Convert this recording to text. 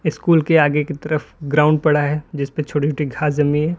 School के आगे की तरफ ग्राउंड पड़ा है जिसपे छोटे छोटे घास जमी है।